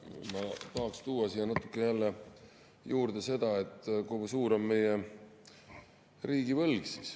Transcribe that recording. Ma tahaksin tuua siia jälle juurde seda, kui suur on meie riigivõlg.